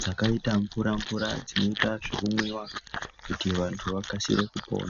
dzakaita mvura mvura dzinoita zvekumwiwa kuti vantu vakasire kupora.